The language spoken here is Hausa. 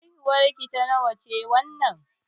Haihuwar ki ta nawa ce wannan?